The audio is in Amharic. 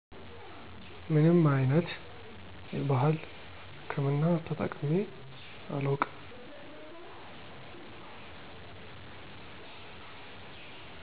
ምንም አይነት የባህል ህክምና ተጠቅሜ አላውቅም።